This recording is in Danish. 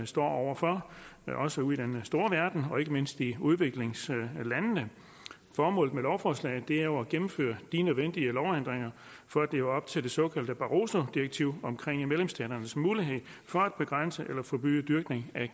står over for også ude i den store verden og ikke mindst i udviklingslandene formålet med lovforslaget er jo at gennemføre de nødvendige lovændringer for at leve op til det såkaldte barrosodirektiv om medlemsstaternes mulighed for at begrænse eller forbyde dyrkning af